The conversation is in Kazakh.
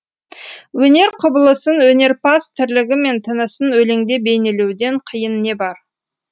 өнер құбылысын өнерпаз тірлігі мен тынысын өлеңде бейнелеуден қиын не бар